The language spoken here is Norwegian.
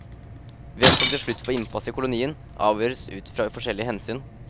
Hvem som til slutt får innpass i kolonien, avgjøres ut fra forskjellige hensyn.